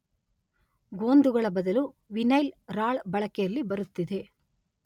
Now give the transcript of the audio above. ಗೋಂದುಗಳ ಬದಲು ವೀನೈಲ್ ರಾಳ ಬಳಕೆಯಲ್ಲಿ ಬರುತ್ತಿದೆ.